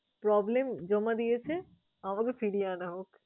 roblem জমা দিয়েছে আমাকে ফিরিয়ে আনা হোক।